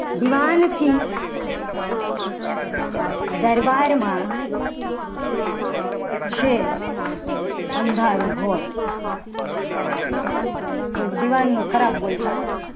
દિવાન થી દરબારમાં છે. અંધારું ગોટ પણ દીવાનો ખરાબ બોલતા હતા.